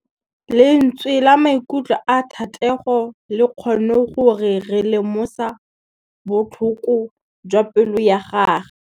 Lentswe la maikutlo a Thategô le kgonne gore re lemosa botlhoko jwa pelô ya gagwe.